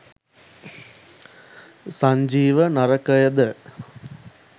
Sanjeewa නරකයද